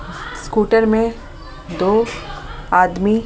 scooter में दो आदमी--